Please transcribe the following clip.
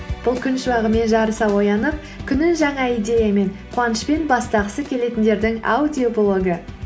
бұл күн шуағымен жарыса оянып күнін жаңа идеямен қуанышпен бастағысы келетіндердің аудиоблогы